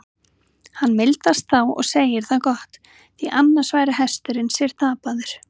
Hann mildast þá og segir það gott, því annars væri hesturinn sér tapaður.